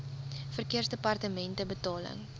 verkeersdepartementebetaling